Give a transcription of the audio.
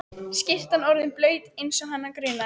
Skyrtan orðin blaut eins og hana grunaði.